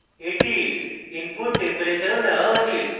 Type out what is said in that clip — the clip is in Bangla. এটির input টেম্পেরেচরও নেওয়া উচিত